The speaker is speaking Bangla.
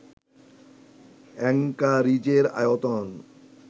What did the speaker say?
অ্যাংকারিজের আয়তন